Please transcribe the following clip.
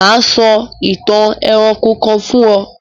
Mà á sọ ìtàn ẹranko kan fún ọ.